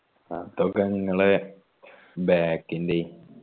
അതൊക്കെ ഇങ്ങളെ back ൻ്റെയ്യ്